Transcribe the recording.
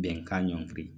Bɛnkan ɲɔngiri